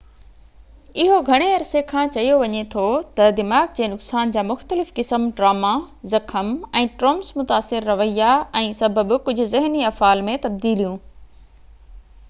اهو گهڻي عرصي کان چيو وڃي ٿو ته دماغ جي نقصان جا مختلف قسم ٽراما زخم ۽ ٽرومس متاثر رويا ۽ سبب ڪجهه ذهني افعال ۾ تبديليون